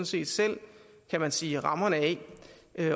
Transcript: set selv kan man sige rammerne af